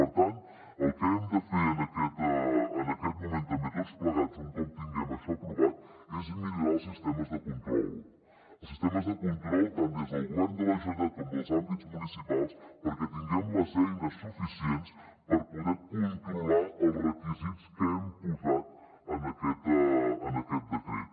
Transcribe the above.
per tant el que hem de fer en aquest moment també tots plegats un cop tinguem això aprovat és millorar els sistemes de control els sistemes de control tant des del govern de la generalitat com dels àmbits municipals perquè tinguem les eines suficients per poder controlar els requisits que hem posat en aquest decret